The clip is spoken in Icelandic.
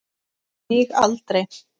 Lýg aldrei.